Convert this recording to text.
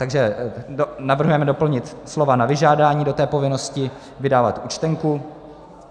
Takže navrhujeme doplnit slova "na vyžádání" do té povinnosti vydávat účtenku.